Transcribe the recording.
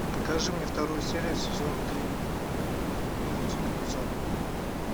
покажи мне вторую серию сезон три мир дикого запада